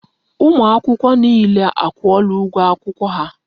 Ụmụ akwụkwọ niile a kwụọla ụgwọ akwụkwọ ha.